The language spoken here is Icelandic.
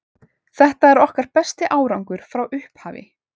Þetta er okkar besti árangur frá upphafi.